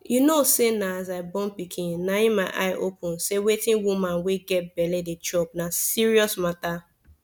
u know say na as i born pikin na my eye open say wetin woman wey get belle dey chop na serious mata